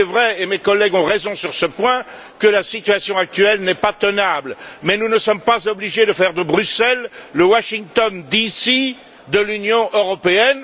Il est vrai et mes collègues ont raison sur ce point que la situation actuelle n'est pas tenable mais nous ne sommes pas obligés de faire de Bruxelles le Washington DC de l'Union européenne.